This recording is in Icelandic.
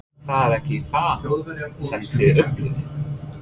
Það er ekki það sem þið upplifið?